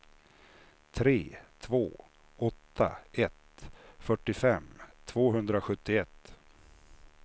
tre två åtta ett fyrtiofem tvåhundrasjuttioett